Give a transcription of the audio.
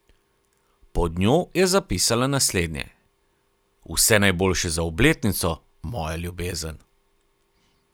Pod njo je zapisala naslednje: ''Vse najboljše za obletnico, moja ljubezen.